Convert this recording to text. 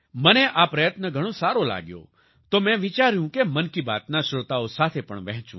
મને આ પ્રયત્ન ઘણો સારો લાગ્યો તો મેં વિચાર્યું કે મન કી બાતના શ્રોતાઓ સાથે પણ વહેચું